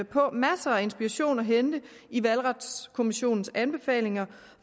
på masser af inspiration at hente i valgretskommissionens anbefalinger